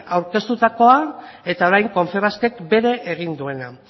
aurkeztutakoa eta orain confebaskek bere egin duena